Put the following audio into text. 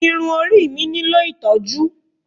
Irun orí mi nílò ìtọ́jú.